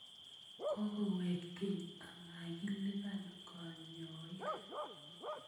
Kokowek keny amakilipan kanyoik